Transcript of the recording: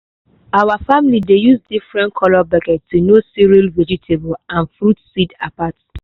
our family dey use different colour bucket to know cereal vegetable and fruit seed apart.